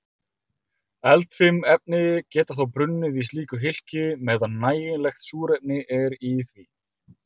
Eldfim efni geta þá brunnið í slíku hylki meðan nægilegt súrefni er í því.